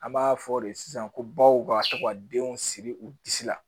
An b'a fɔ de sisan ko baw b'a to ka denw siri u disi la